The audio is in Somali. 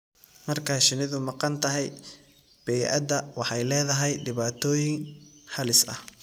Marka shinnidu maqan tahay, bay'ada waxay leedahay dhibaatooyin halis ah.